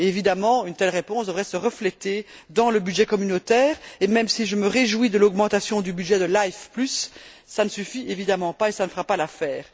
Évidemment, une telle réponse devrait se refléter dans le budget communautaire et, même si je me réjouis de l'augmentation du budget de Life cela ne suffit évidemment pas et cela ne fera pas l'affaire.